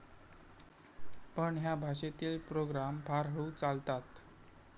पण ह्या भाषेतील प्रोग्राम फार हळू चालतात.